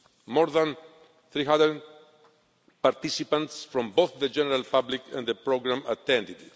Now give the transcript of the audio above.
More than 300 participants from both the general public and the programme attended.